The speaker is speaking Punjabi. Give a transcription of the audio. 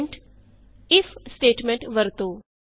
Hint ਇਫ ਸਟੇਟਮੈਂਟ ਵਰਤੋ